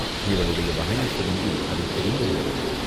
இவளுடைய வாயைப் பிடுங்கி அதைத் தெரிந்து கொள்ள வேண்டும்.